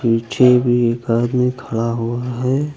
पीछे भी एक आदमी खड़ा हुआ है।